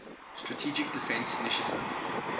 strategic defense initiative